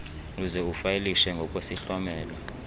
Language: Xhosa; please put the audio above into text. uze ufayilishe ngokwesihlomelo